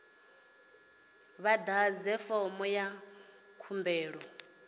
vha ḓadze fomo ya khumbelo